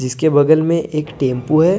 इसके बगल में एक टेंपू हैं।